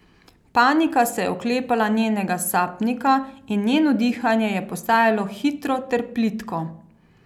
Panika se je oklepala njenega sapnika in njeno dihanje je postajalo hitro ter plitko.